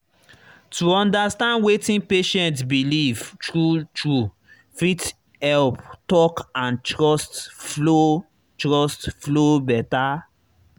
to understand wetin patient believe true true fit help talk and trust flow trust flow better.